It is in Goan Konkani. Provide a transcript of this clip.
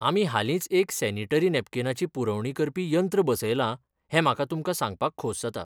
आमी हालींच एक सॅनीटरी नॅपकीनाची पुरवणी करपी यंत्र बसयलां हें म्हाका तुमकां सांगपाक खोस जाता .